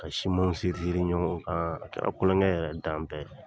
Ka simanw seriseri ɲɔgɔn kan a kɛra kulonkɛ yɛrɛ dan bɛɛ ye.